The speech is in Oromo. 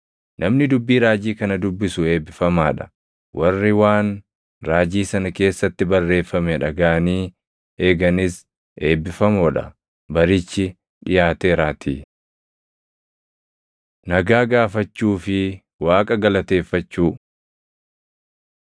Namni dubbii raajii kana dubbisu eebbifamaa dha; warri waan raajii sana keessatti barreeffame dhagaʼanii eeganis eebbifamoo dha; barichi dhiʼaateeraatii. Nagaa Gaafachuu fi Waaqa Galateeffachuu